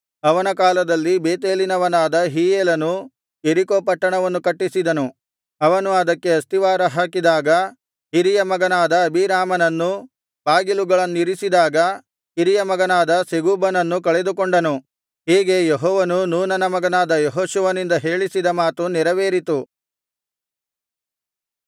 ಅವನ ಕಾಲದಲ್ಲಿ ಬೇತೇಲಿನವನಾದ ಹೀಯೇಲನು ಯೆರಿಕೋ ಪಟ್ಟಣವನ್ನು ಕಟ್ಟಿಸಿದನು ಅವನು ಅದಕ್ಕೆ ಅಸ್ತಿವಾರ ಹಾಕಿದಾಗ ಹಿರಿಯ ಮಗನಾದ ಅಬೀರಾಮನನ್ನೂ ಬಾಗಿಲುಗಳನ್ನಿರಿಸಿದಾಗ ಕಿರಿಯ ಮಗನಾದ ಸೆಗೂಬನನ್ನೂ ಕಳೆದುಕೊಂಡನು ಹೀಗೆ ಯೆಹೋವನು ನೂನನ ಮಗನಾದ ಯೆಹೋಶುವನಿಂದ ಹೇಳಿಸಿದ ಮಾತು ನೆರವೇರಿತು